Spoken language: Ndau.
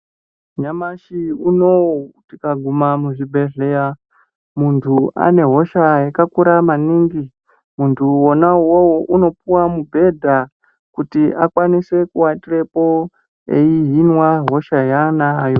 Nyamashi unou tikaguma muzvibhehleya ,muntu anehosha yakakura maningi .Muntu wona iwowo unopuwe mubhudha wekuti akwanise kuwatirepo eihinwa hosha yaanayo.